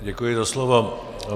Děkuji za slovo.